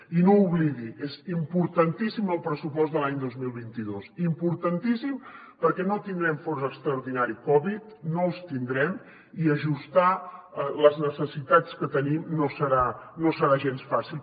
i no ho oblidi és importantíssim el pressupost de l’any dos mil vint dos importantíssim perquè no tindrem fons extraordinari covid no el tindrem i ajustar les necessitats que tenim no serà gens fàcil